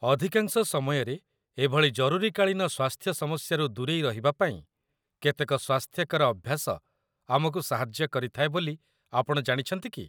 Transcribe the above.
ଅଧିକାଂଶ ସମୟରେ ଏଭଳି ଜରୁରୀକାଳୀନ ସ୍ୱାସ୍ଥ୍ୟ ସମସ୍ୟାରୁ ଦୂରେଇ ରହିବାପାଇଁ କେତେକ ସ୍ୱାସ୍ଥ୍ୟକର ଅଭ୍ୟାସ ଆମକୁ ସାହାଯ୍ୟ କରିଥାଏ ବୋଲି ଆପଣ ଜାଣିଛନ୍ତି କି?